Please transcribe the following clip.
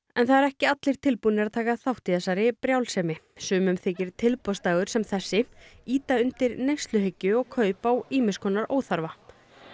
en það eru ekki allir tilbúnir að taka þátt í þessari brjálsemi sumum þykir tilboðsdagur sem þessi ýta undir neysluhyggju og kaup á ýmiss konar óþarfa